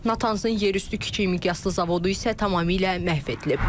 Natansın yerüstü kiçik miqyaslı zavodu isə tamamilə məhv edilib.